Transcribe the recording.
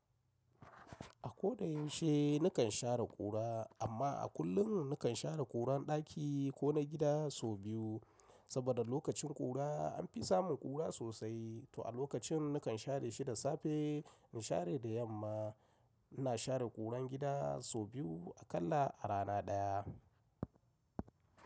A ko da yaushe nakan share ƙura amma a kullum nakan share ƙuran ɗaki ko na gida sau biyu saboda lokacin ƙura an fi samun ƙura sosai to a lokacin nakan share shi da safe in share da yamma. Na share ƙuran gida sau biyu akalla a rana ɗaya.